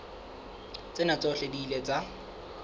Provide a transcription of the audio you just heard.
tsena tsohle di ile tsa